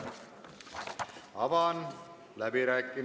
Aitäh!